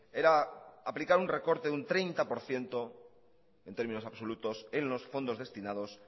era aplicar un recorte de un treinta por ciento en términos absolutos en los fondos destinados